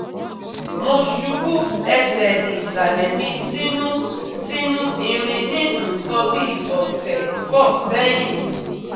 Mo ṣubú ẹsẹ̀ ìsàlẹ̀ mi sínú sínú irin ní nǹkan bí ọ̀sẹ̀ 4 sẹ́yìn